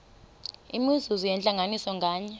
imizuzu yentlanganiso nganye